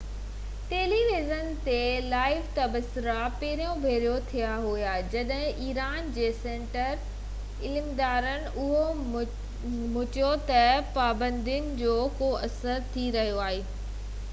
tele vision تي live تبصرا پهرين ڀيرو ٿيا هئا جڏهن ايران جي سينيئر عملدار اهو مڃيو تہ پابندين جو ڪو اثر ٿي رهيو آهي